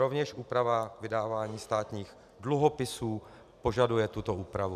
Rovněž úprava vydávání státních dluhopisů požaduje tuto úpravu.